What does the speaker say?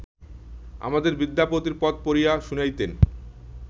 আমাকে বিদ্যাপতির পদ পড়িয়া শুনাইতেন